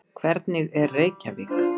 Hvernig er Reykjavík?